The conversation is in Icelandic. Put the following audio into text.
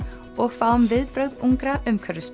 og fáum viðbrögð ungra